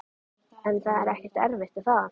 En það er ekkert erfitt er það?